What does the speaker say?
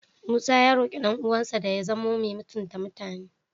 Musa ya roƙi ɗan'uwansa da ya zamo mai mutunta mutane.